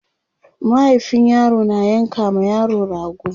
mahaifin yaro na yanka ma yaro rago